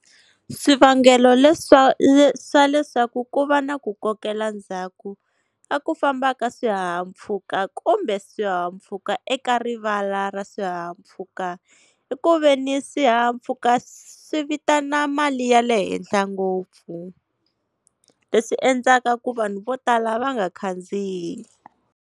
Swivangelo leswa swa leswaku ku va na ku kokela ndzhaku ka ku famba ka swihahampfhuka kumbe swihahampfhuka eka rivala ra swihahampfhuka, i ku veni swihahampfhuka swi vitana mali ya le henhla ngopfu, leswi endlaka ku vanhu vo tala va nga khandziyi.